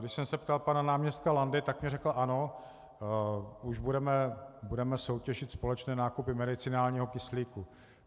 Když jsem se ptal pana náměstka Landy, tak mi řekl ano, už budeme soutěžit společné nákupy medicinálního kyslíku.